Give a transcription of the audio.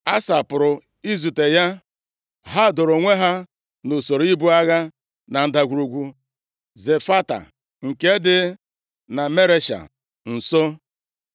Asa pụrụ izute ya. Ha doro onwe ha nʼusoro ibu agha na Ndagwurugwu Zefata nke dị Maresha nso.